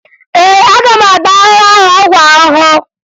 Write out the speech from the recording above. Ee, aga m agba ahụhụ ahụ ọgwụ ahụhụ